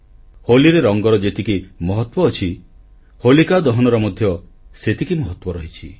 ହୋଲିରେ ରଙ୍ଗର ଯେତିକି ମହତ୍ୱ ଅଛି ହୋଲିକା ଦହନର ମଧ୍ୟ ସେତିକି ମହତ୍ୱ ରହିଛି